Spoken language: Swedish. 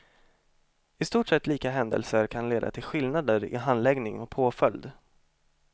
I stort sett lika händelser kan leda till skillnader i handläggning och påföljd.